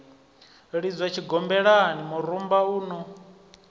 lidzwa tshigombelani murumba un o